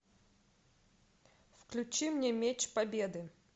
включи мне меч победы